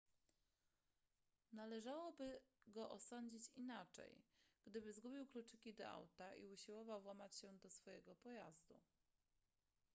należałoby go osądzić inaczej gdyby zgubił kluczyki do auta i usiłował włamać się do swojego pojazdu